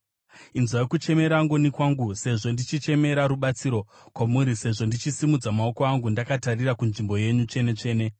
Inzwai kuchemera ngoni kwangu, sezvo ndichichemera rubatsiro kwamuri, sezvo ndichisimudza maoko angu ndakatarira kuNzvimbo yenyu Tsvene-tsvene.